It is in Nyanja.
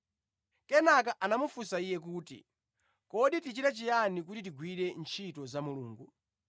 Kenaka anamufunsa Iye kuti, “Kodi tichite chiyani kuti tigwire ntchito za Mulungu?”